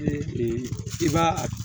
I b'a